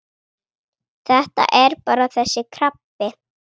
Þetta er bara þessi krabbi.